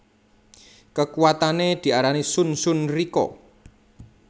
Kekuwatane diarani Shun Shun Rikka